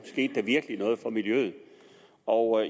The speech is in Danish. virkelig skete noget for miljøet og